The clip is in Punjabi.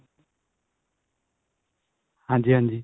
ਹਾਂਜੀ ਹਾਂਜੀ.